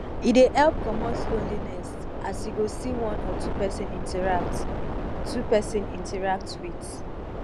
e dey help comot lonliness as yu go see one or two pesin interact two pesin interact wit